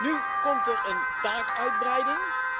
Nu komt er een taakuitbreiding.